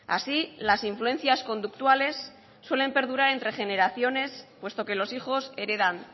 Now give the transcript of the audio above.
así las influencias conductuales suelen perdurar entre generaciones puesto que los hijos heredan